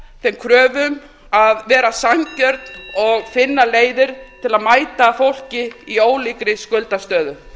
þeim kröfum að vera sanngjörn og finna leiðir til að mæta fólki í ólíkri skuldastöðu